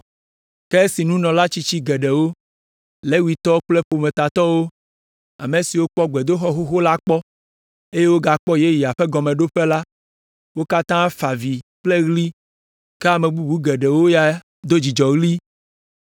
Ke esi nunɔla tsitsi geɖewo, Levitɔwo kple ƒometatɔwo, ame siwo kpɔ gbedoxɔ xoxo la kpɔ, eye wogakpɔ yeyea ƒe gɔmeɖoƒe la, wo katã fa avi kple ɣli, ke ame bubu geɖewo ya do dzidzɔɣli.